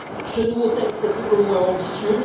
Ce nouveau texte est pour le moins ambitieux.